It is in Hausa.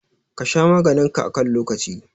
Ka sha maganin ka a kan lokaci.